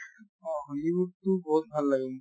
অ hollywood তো বহুত ভাল লাগে মোক।